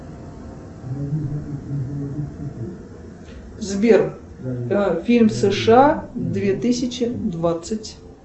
сбер фильм сша две тысячи двадцать